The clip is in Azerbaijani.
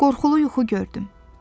Qorxulu yuxu gördüm.